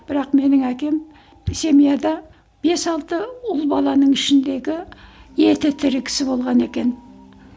бірақ менің әкем семьяда бес алты ұл баланың ішіндегі еті тірі кісі болған екен